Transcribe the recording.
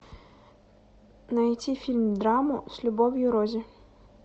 найти фильм драму с любовью рози